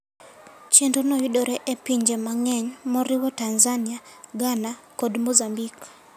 Chenrono yudore e pinje mang'eny, moriwo Tanzania, Ghana, kod Mozambique.